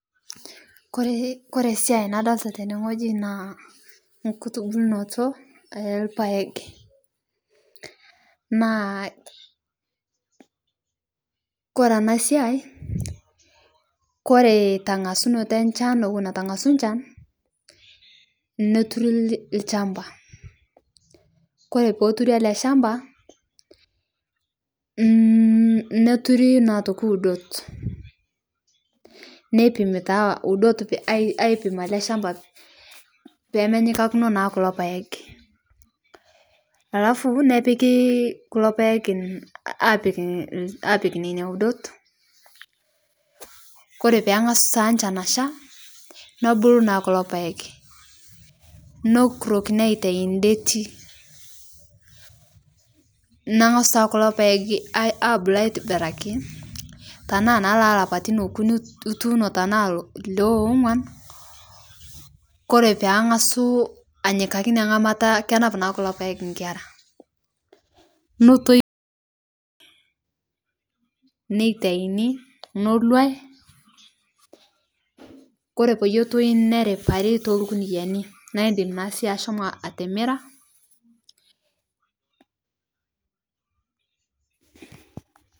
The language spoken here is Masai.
Koree siai nadlita tenee ng'oji naa nkutubulnoto elpaeg naa kore ana siai kore tang'asunoto enshan ewon etu eng'asuu nchan neturi lchampa kore peeturi ale shampa neturi naa otoki udot neipimi taa udot aipim alee shampaa pemenyikakino naa kuloo paeg alafu nepiki kulo paeg apik, apik nenia udot kore pang'asuu taa nchan ashaa nebulu naa kulo paeg nokurokini aitai ndetii neng'asu taa kulo paeg abulu aitibiraki tanaa naa lelapatin okuni ituuno tanaa le ong'uan kore peng'asu anyikaki inia ng'amata kenap naa kulo paeg nkera notoi neitaini noluai kore peyie etoi neriparii tolkuniyani naa indim naa sii ashomo atimiraa.